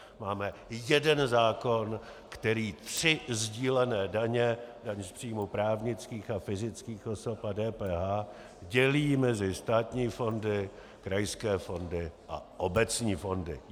Máme jeden zákon, který tři sdílené daně - daň z příjmu právnických a fyzických osob a DPH - dělí mezi státní fondy, krajské fondy a obecní fondy.